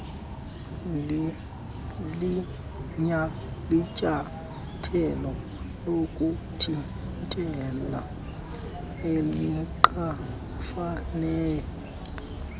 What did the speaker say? linyathelo lokuthintela elingafaniyo